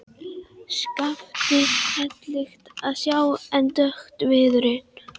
Skaftið heillegt að sjá en dökkur viðurinn.